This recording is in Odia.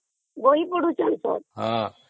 ବହି ପଢୁଛନ୍ତି ତ